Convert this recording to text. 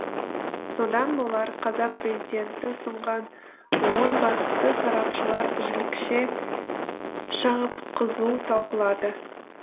содан болар қазақ президенті ұсынған он бағытты сарапшылар жілікше шағып қызу талқылады